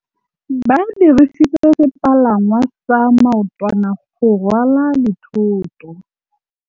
Ba dirisitse sepalangwasa maotwana go rwala dithôtô.